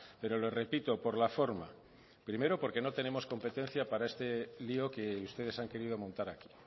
pero le repito por la forma primero porque no tenemos competencia para este lio que ustedes han querido montar aquí